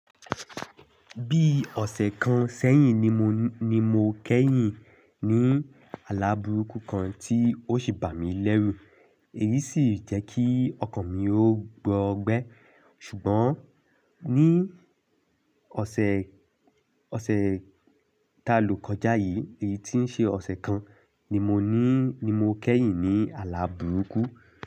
Bí ọ̀sẹ̀ kan sẹ́yìn ni mo, ni mo kẹ́yìn ní àlá burúkú kan tí ó sì bà mí lẹ́rù. Èyí sì jẹ́ kí ọkàn mi ó gbọ́gbẹ́. Ṣùgbọ́n ní ọ̀sẹ̀, ọ̀sẹ̀ ta ló kọjá yìí, èyí tí ń ṣe ọ̀sẹ̀ kan ni mo ní, ni mo kẹ́yìn ní àlá burúkú.